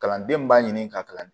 Kalanden min b'a ɲini ka kalan